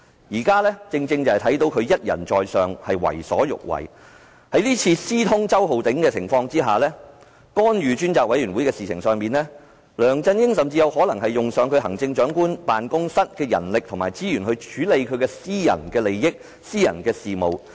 我們看到他一人在上，為所欲為。在這次私通周浩鼎議員，並干預專責委員會的事情上，梁振英甚至有可能動用行政長官辦公室的人力及資源，來處理其私人利益和私人事務。